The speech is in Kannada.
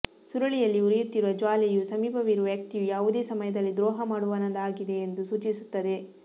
ಸುರುಳಿಯಲ್ಲಿ ಉರಿಯುತ್ತಿರುವ ಜ್ವಾಲೆಯು ಸಮೀಪವಿರುವ ವ್ಯಕ್ತಿಯು ಯಾವುದೇ ಸಮಯದಲ್ಲಿ ದ್ರೋಹ ಮಾಡುವವನಾಗಿದೆಯೆಂದು ಸೂಚಿಸುತ್ತದೆ